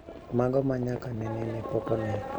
Mago ma nyaka nene ne pok one